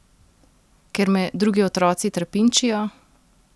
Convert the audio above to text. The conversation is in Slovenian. Ker me drugi otroci trpinčijo?